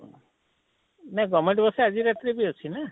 ନା govement bus ଆଜି ରାତିରେ ବି ଅଛେ ନାଁ?